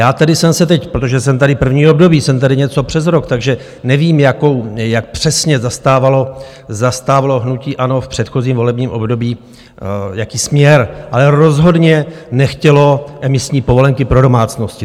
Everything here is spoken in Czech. Já tedy jsem se teď, protože jsem tady první období, jsem tady něco přes rok, takže nevím, jak přesně zastávalo hnutí ANO v předchozím volebním období, jaký směr, ale rozhodně nechtělo emisní povolenky pro domácnosti.